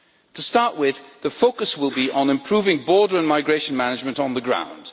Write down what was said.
To start with, the focus will be on improving border and migration management on the ground.